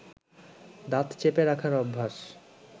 দাঁত চেপে রাখার অভ্যাস